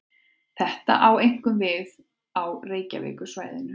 Þetta á einkum við á Reykjavíkursvæðinu.